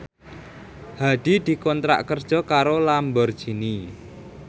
Hadi dikontrak kerja karo Lamborghini